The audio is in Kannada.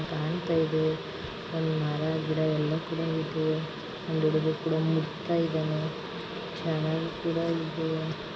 ಕಾಣ್ತಾ ಇದೆ ಒಂದು ಮರ ಗಿಡ ಎಲ್ಲ ಕೂಡ ಇದೆ ಒಂದು ಹುಡುಗ ಅದನ್ನುಮುಟ್ಟತ್ತಾ ಇದ್ದಾನೆ.ಚನ್ನಾಗಿ ಕೂಡ ಇದೆ.